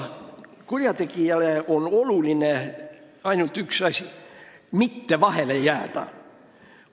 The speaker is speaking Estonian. Kurjategijale on oluline ainult üks asi – mitte vahele jääda.